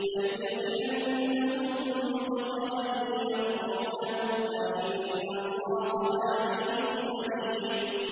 لَيُدْخِلَنَّهُم مُّدْخَلًا يَرْضَوْنَهُ ۗ وَإِنَّ اللَّهَ لَعَلِيمٌ حَلِيمٌ